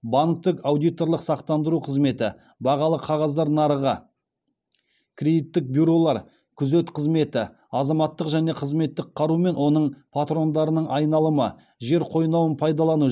банктік аудиторлық сақтандыру қызметі бағалы қағаздар нарығы кредиттік бюролар күзет қызметі азаматтық және қызметтік қару мен оның патрондарының айналымы жер қойнауын пайдалану